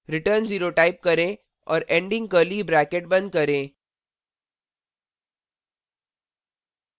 return 0 type करें और ending curly bracket बंद करें